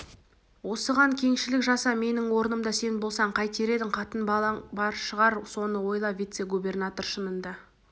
осыған кеңшілік жаса менің орнымда сен болсаң қайтер едің қатын-балаң бар шығар соны ойла вице-губернатор шынында